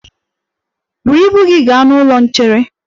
Buru ibu gi ga n'ụlọ nchere!